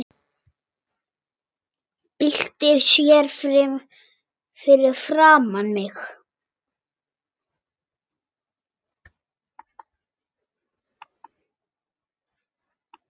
Byltir sér fyrir framan mig.